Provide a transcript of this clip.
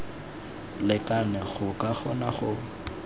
lekane go ka kgona go